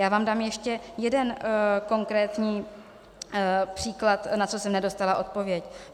Já vám dám ještě jeden konkrétní příklad, na co jsem nedostala odpověď.